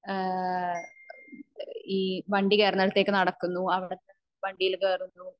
ഏഹ്ഹ് ഈ വണ്ടി കേറന്നിടത്തേക്ക് നടക്കുന്നു അവിടെന്ന് വണ്ടിയി കേറുന്നു